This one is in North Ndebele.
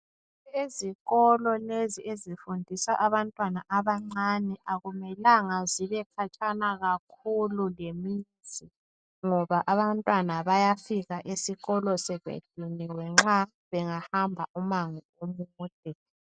Ezikolo lezi ezifundisa abantwana abancane akumelanga zibe khatshana kakhulu lemizi ngoba abantwana bayafika esikolo sebediniwe nxa bengahamba umango omude.